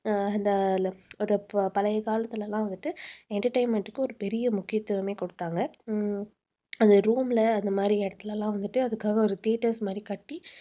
அஹ் இந்த ஒரு பழைய காலத்துல எல்லாம் வந்துட்டு entertainment க்கு ஒரு பெரிய முக்கியத்துவமே குடுத்தாங்க உம் அந்த room ல அந்த மாதிரி இடத்தில எல்லாம் வந்துட்டு அதுக்காக ஒரு theatres மாதிரி கட்டி